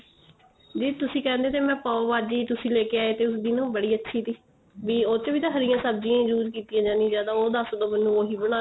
ਦੀਦੀ ਤੁਸੀਂ ਕਹਿੰਦੇ ਓ ਤੇ ਮੈਂ ਪਾਉ ਭਾਜੀ ਤੁਸੀਂ ਲੈ ਕੇ ਆਏ ਥੇ ਉਸ ਦਿਨ ਉਹ ਬੜੀ ਅੱਛੀ ਥੀ ਉਸੁ ਚ ਵੀ ਤਾਂ ਹਰੀ ਸਬਜੀਆਂ use ਕੀਤੀਆਂ ਜਾਂਦੀਆ ਜਾਂ ਤਾਂ ਉਹ ਦਸ ਸੋ ਮੈਨੂੰ ਉਹੀ ਬਣਾਨੀ